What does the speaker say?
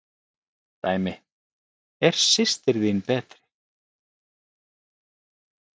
Dæmi: Er systir þín betri?